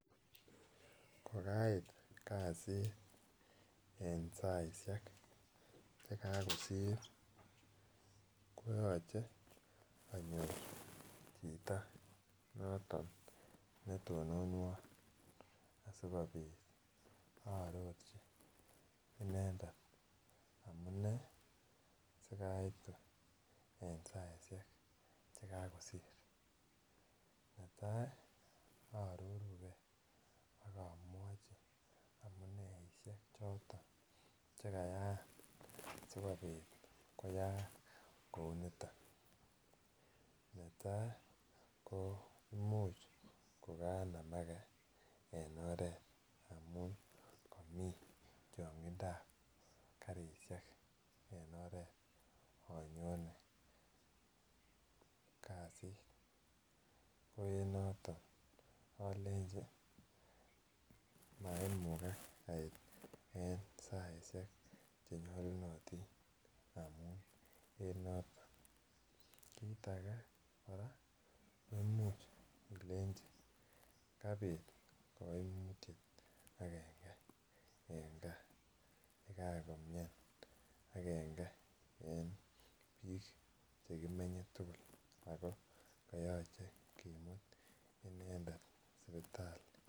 Kokait kasit en saisiek Che kakosir koyoche chito noton netononwon asikobit aarorchi inendet amune sikai aitu en saisiek Che kasir netai aaroru ge ak amwachi amuneisiek choton Che kayaan asikobit koyaaak kou niton netai ko Imuch kokanamage en oret amun kamii changindab karisiek en oret anyone kasit ko en noton alenji maimugak ait en saisiek Che nyolunotin amun en noton kit age kora ko Imuch ilenji kabit agenge en gaa ye kaan komian agenge en bik Che kimenye tugul ako koyoche kimut inendet sipitali